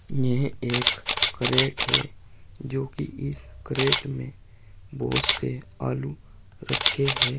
यह एक क्रेट है जोकी इस क्रेट में बहुत से आलू रखे हैं।